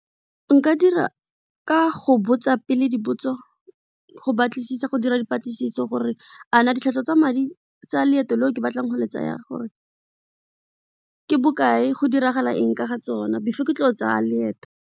Nka dira ka go botsa pele dipotso go batlisisa, go dira dipatlisiso gore a na ditlhwatlhwa tsa madi tsa leeto leo ke batlang go le tsaya gore ke bokae, go diragala eng ka ga tsona before ke tlo tsa leeto.